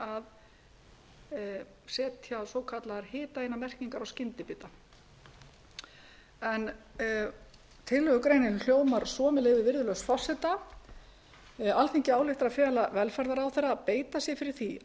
að setja eigi svokallar hitaeiningamerkingar á skyndibita tillögugreinin hljóðar svo með leyfi virðulegs forseta alþingi ályktar að fela velferðarráðherra að beita sér fyrir því að